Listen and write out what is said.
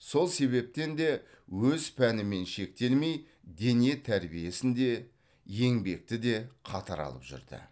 сол себептен де өз пәнімен шектелмей дене тәрбиесін де еңбекті де қатар алып жүрді